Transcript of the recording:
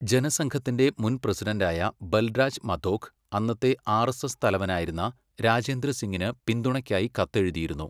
ജനസംഘത്തിൻ്റെ മുൻ പ്രസിഡണ്ടായ ബൽരാജ് മധോക് അന്നത്തെ ആർഎസ്എസ് തലവനായിരുന്ന രാജേന്ദ്ര സിങ്ങിന് പിന്തുണയ്ക്കായി കത്തെഴുതിയിരുന്നു.